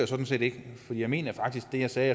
sådan set ikke for jeg mener faktisk det jeg sagde